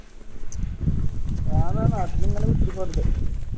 ഞാൻ ദാ നാട്ടില് ഇങ്ങനെ കുത്തിരിക്ക വെറുതെ